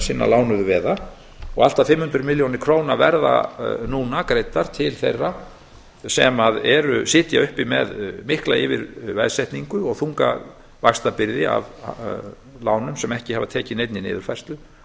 þröskuldarins hinna lánuðu veða allt að fimm hundruð milljónir króna verða nú greiddar til þeirra sem sitja uppi með mikla veðsetningu og þunga vaxtabyrði af lánum sem ekki hafa tekið neinni niðurfærslu af